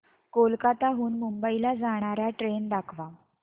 कोलकाता हून मुंबई ला जाणार्या ट्रेन दाखवा